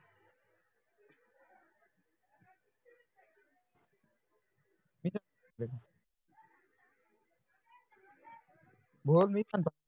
बोल मीच आणतो